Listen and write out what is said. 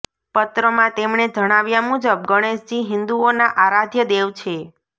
પત્રમાં તેમણે જણાવ્યા મુજબ ગણેશજી હિન્દુઓના આરાધ્ય દેવ છે